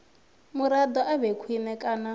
muraḓo a vhe khwine kana